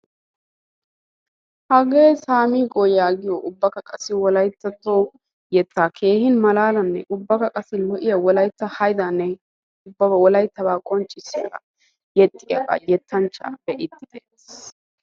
Hagee saamiigoo yaagiyogee ubbakka qassi wolayttatto yetaa keehimalaalan ubbakka qassi malaalan ubbakka qassi keehin lo'iya wolaytta haydaanne ubba wolaytabaa qonccissiyagaa yexxiyaagaa yetanchchaa be'iidi de'eetees